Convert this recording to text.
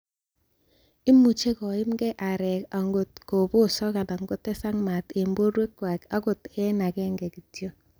Imuch koimgee areek angot ko bosok anan kotesak maat en borwekywak akot en agenge kityok.